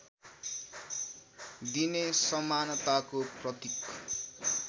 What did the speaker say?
दिने समानताको प्रतीक